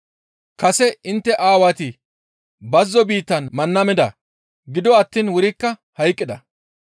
Kase intte aawati bazzo biittan manna mida; gido attiin wurikka hayqqida.